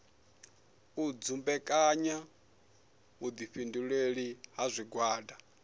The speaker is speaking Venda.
u dumbekanya vhuifhinduleli ha zwigwada